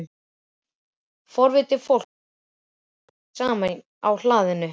Forvitið fólk var farið að tínast saman á hlaðinu.